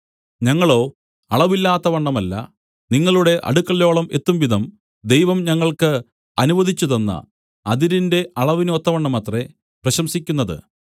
ഞങ്ങളോ അളവില്ലാത്തവണ്ണമല്ല നിങ്ങളുടെ അടുക്കലോളം എത്തുംവിധം ദൈവം ഞങ്ങൾക്ക് അനുവദിച്ചുതന്ന അതിരിന്റെ അളവിന് ഒത്തവണ്ണമത്രേ പ്രശംസിക്കുന്നത്